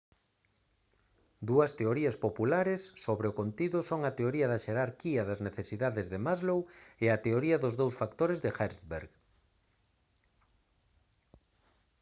dúas teorías populares sobre o contido son a teoría da xerarquía das necesidades de maslow e a teoría dos dous factores de hertzberg